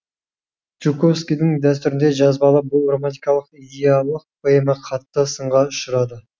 жуковскийдің дәстүрінде жазбалық бұл романтикалық идиллиялық поэма қатты сынға ұшырады